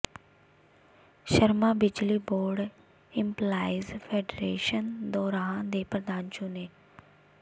ਸ਼ਰਮਾ ਬਿਜਲੀ board employees federation Doraha ਦੇ ਪ੍ਰਧਾਨ ਚੁਣੇ